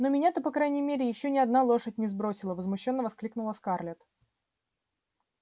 ну меня-то по крайней мере ещё ни одна лошадь не сбросила возмущённо воскликнула скарлетт